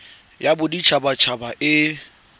ya bodit habat haba e